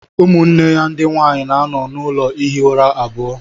Ụmụnne ya ndị nwanyị na-anọ n'ụlọ ihi ụra abụọ